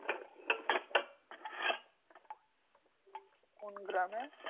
কোন গ্রামে?